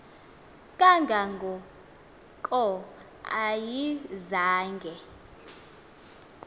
kanga ko ayizange